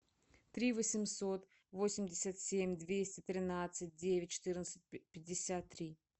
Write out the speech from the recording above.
три восемьсот восемьдесят семь двести тринадцать девять четырнадцать пятьдесят три